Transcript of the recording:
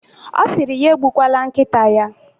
Ọ siri ya egbukwala nkịta ya.